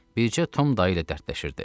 Bircə Tom dayı ilə dərdləşirdi.